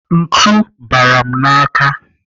Ntu bara m n'aka.